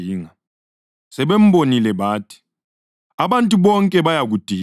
sebembonile, bathi, “Abantu bonke bayakudinga!”